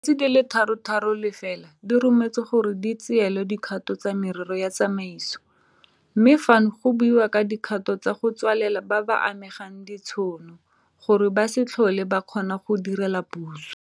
Dikgetse di le 330 di rometswe gore di tseelwe dikgato tsa merero ya tsamaiso, mme fano go buiwa ka dikgato tsa go tswalela ba ba amegang ditšhono gore ba se tlhole ba kgona go direla puso.